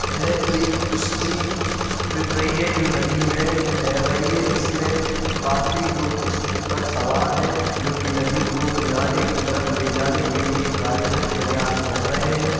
यह एक किश्ती दिख रही है। जो नदी में तैर रही है | इसमे काफी लोग इस पर सवार है जो की नदी को किनारे की तरफ ले जाने के लिए कार्यरत प्रयास कर रहे हैं ।